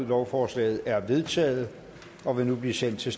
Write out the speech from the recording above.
lovforslaget er vedtaget og vil nu blive sendt til